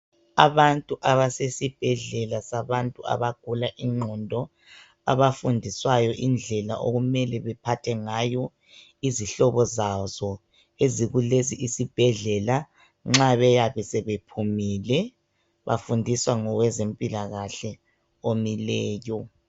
Abantu abasesibhedlela sabantu abagula ingqondo abafundiswayo indlela okumele baphathe ngazo izihobo zazo ezikulesi isibhedlela nxa beyabe sebephumile. Bafundiswa ngowezempilakahle omileyo .